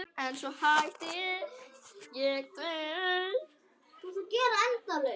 En svo hætti ég því.